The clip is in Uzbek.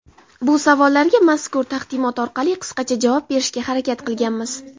Bu savollarga mazkur taqdimot orqali qisqacha javob berishga harakat qilganmiz.